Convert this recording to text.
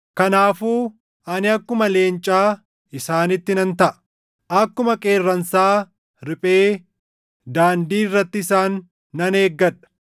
Kanaafuu ani akkuma leencaa isaanitti nan taʼa; akkuma qeerransaa riphee daandii irratti isaan nan eeggadha.